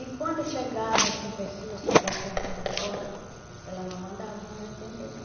E quando chegava assim pessoas que batiam assim na porta, ela não mandava nós atender, não.